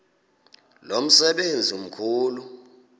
lo msebenzi mkhulu